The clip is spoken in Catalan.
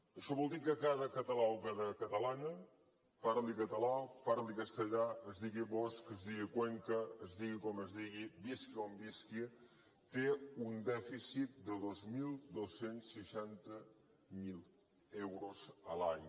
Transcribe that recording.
això vol dir que cada català o cada catalana parli català parli castellà es digui bosch es digui cuenca es digui com es digui visqui on visqui té un dèficit de dos mil dos cents i seixanta euros l’any